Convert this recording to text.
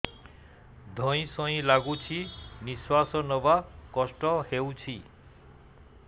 ଧଇଁ ସଇଁ ଲାଗୁଛି ନିଃଶ୍ୱାସ ନବା କଷ୍ଟ ହଉଚି